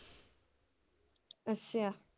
ਅੱਛਾ।